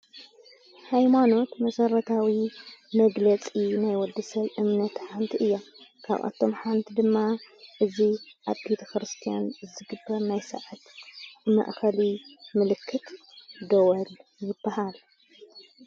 ኃይማኖት መሠረታዊ መግለጺ ናይ ወድሰብ እምነት ሓንቲ እያ ካብኣቶም ሓንቲ ድማ እዙ ኣብ ቤተ ክርስቲያን ዝግበር ናይ ሰዓት ማእኸሊ ምልክት ደወል ይበሃል::